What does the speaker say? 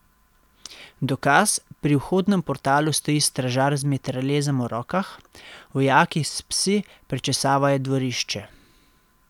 Dokaz, pri vhodnem portalu stoji stražar z mitraljezom v rokah, vojaki s psi prečesavajo dvorišče.